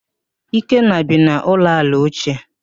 Ekene bi n'ụlọ ala ochie